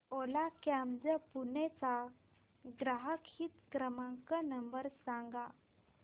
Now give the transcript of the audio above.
ओला cabs Pune चा ग्राहक हित क्रमांक नंबर सांगा